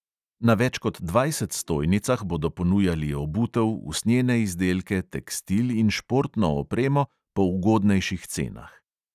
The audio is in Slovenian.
Na več kot dvajset stojnicah bodo ponujali obutev, usnjene izdelke, tekstil in športno opremo po ugodnješih cenah.